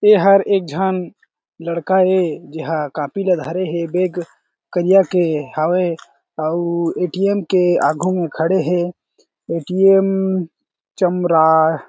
ये हर एक झन लड़का ए जेहा कॉपी ल धरे हें बैग करिया के हावय अउ ए_टी_एम के आगू में खड़े हें ए_टी_एम चंद्रा--